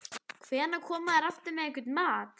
Hvenær koma þeir aftur með einhvern mat?